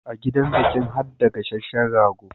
A gidan bikin harda gasashehen rago